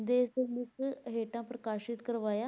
ਦੇ ਸਿਰਲੇਖ ਹੇਠਾਂ ਪ੍ਰਕਾਸ਼ਿਤ ਕਰਵਾਇਆ।